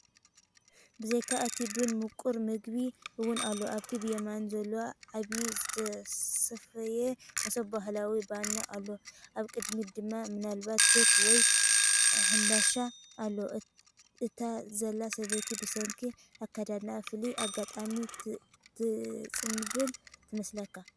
ብዘይካ እቲ ቡን ምቁር መግቢ እውን ኣሎ። ኣብቲ ብየማን ዘሎ ዓቢ ዝተሰፍየ መሶብ ባህላዊ ባኒ ኣሎ፣ ኣብ ቅድሚት ድማ ምናልባት ኬክ ወይ ሃምባሻ ኣሎ። እታ ዘላ ሰበይቲ ብሰንኪ ኣከዳድናኣ ፍሉይ ኣጋጣሚ ትጽንብል ትመስለካ?